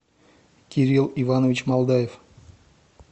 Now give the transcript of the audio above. кирилл иванович молдаев